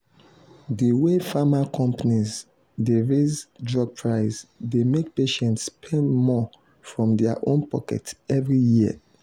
the way pharma companies dey raise drug price dey make patients spend more from their own pocket every year.